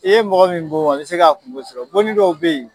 I ye mɔgɔ min bon a bɛ se ka kungo sɔrɔ bonni dɔw bɛ ye.